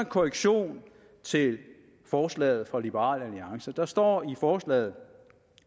korrektion til forslaget fra liberal alliance der står i forslaget